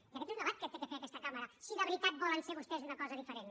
i aquest és un debat que ha de fer aquesta cambra si de veritat volen ser vostès una cosa diferent